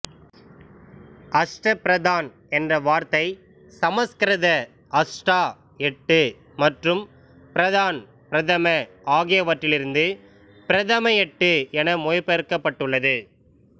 அஷ்ட பிரதான் என்ற வார்த்தை சமஸ்கிருத அஷ்டா எட்டு மற்றும் பிரதான் பிரதம ஆகியவற்றிலிருந்து பிரதம எட்டு என மொழிபெயர்க்கப்பட்டுள்ளது